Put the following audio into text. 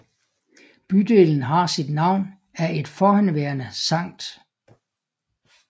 Bydelen har sit navn af et forhenværende Skt